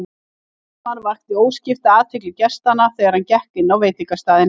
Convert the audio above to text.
Vestmann vakti óskipta athygli gestanna þegar hann gekk inn á veitingastaðinn.